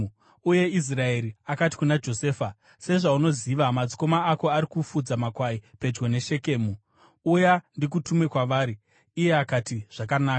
uye Israeri akati kuna Josefa, “Sezvaunoziva, madzikoma ako ari kufudza makwai pedyo neShekemu. Uya, ndikutume kwavari.” Iye akati, “Zvakanaka.”